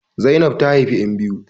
Zainab ta haifi ƴan biyu